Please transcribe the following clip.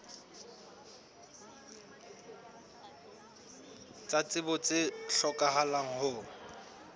tsa tsebo tse hlokahalang ho